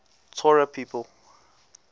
torah people